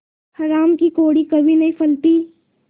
हराम की कौड़ी कभी नहीं फलती